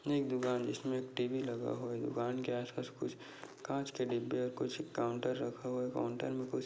एक दुकान जिसमे टी_वी लगा हुआ है दुकान के आस पास कु काँच के डिब्बे और कुछ काउंटर रखा हुआ है काउंटर मे कुछ--